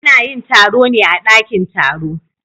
Ana yin taro ne a dakin taro.